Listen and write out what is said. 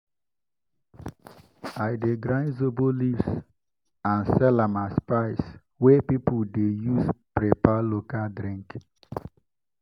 i dey grind zobo leaves and sell am as spice wey people dey use prepare local drink.